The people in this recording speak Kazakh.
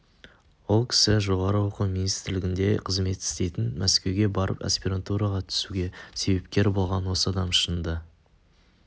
ол кісі жоғарғы оқу министрлігінде қызмет істейтін мәскеуге барып аспирантураға түсуге себепкер болған осы адам шынында